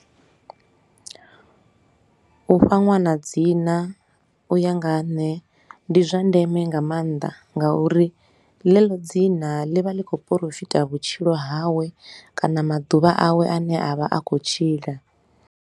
U fha ṅwana dzina u ya nga ha nṋe ndi zwa ndeme nga maanḓa ngauri ḽeḽo dzina ḽi vha ḽi khou porofita vhutshilo hawe kana maḓuvha awe a ne a vha a khou tshila.